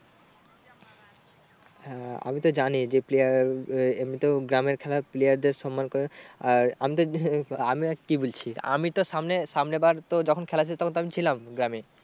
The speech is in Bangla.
হ্যাঁ আমি তো জানি যে player আহ এমনিতেও গ্রামের খেলায় player দের সন্মান করে। আর আমি তো আমি আর কি বলছি আমি তো সামনে সামনে বার তো যখন খেল ছিল তখন তো আমি ছিলাম গ্রামে।